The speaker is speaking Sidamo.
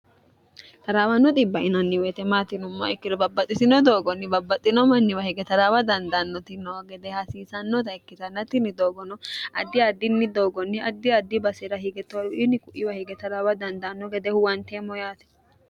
taraawano xibbi yinanni wote maati yinummoha ikkiro babbaxxitino xissoni doogonni babbaxxino manniwa hige taraawa dandaannoti no gede hasiisannota ikkitannatinni doogono addi addinni doogonni addi addi basera hige taraawa dandaanno gede huwanteemmo yaate.